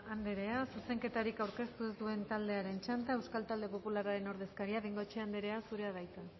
anderea zuzenketarik aurkeztu ez duen taldearen txanda euskal talde popularraren ordezkaria bengoechea anderea zurea da hitza